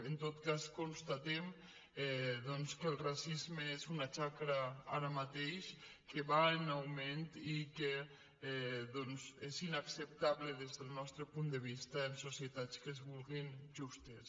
en tot cas constatem doncs que el racisme és una xacra ara ma·teix que va en augment i que és inacceptable des del nostre punt de vista en societats que es vulguin justes